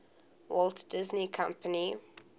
walt disney company